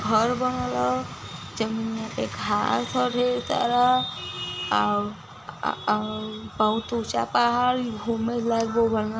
घर बनल ह जमिनयां अ -आव बहोत ऊंचा पहाड़ घुमे लाइ गो --